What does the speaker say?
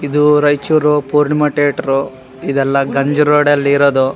ಇದು ರೈಚೂರ್ ಪೂರ್ಣಿಮ ಟೇಟರ್ ಇದೆಲ್ಲ ಗಂಜಿ ರೋದ್ ಅಲ್ಲಿ ಇರೋದು.